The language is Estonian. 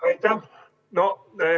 Aitäh!